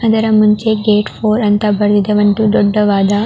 ಅದರ ಮುಂಚೆ gate four ಅಂತ ಬರೆದ ಒಂದು ದೊಡ್ಡವಾದ --